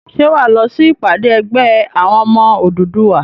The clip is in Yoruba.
Ṣé wà á lọ sí ìpàdé ẹgbẹ́ àwọn ọmọ Odùduwà?